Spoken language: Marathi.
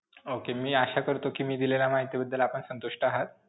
Okay. मी आशा करतो कि मी दिलेल्या माहितीबद्दल आपण संतुष्ट आहात.